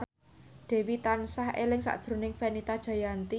Dewi tansah eling sakjroning Fenita Jayanti